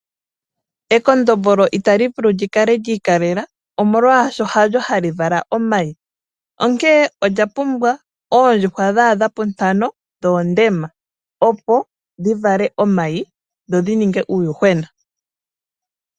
Ekondombolo ita li vulu okukala li ikalela omolwashoka halyo hali vala omayi onkene olya pumbwa oondjuhwa dhaadha puntano dhoondema opo dhi vale omayi go ga ninge uuyuhwena.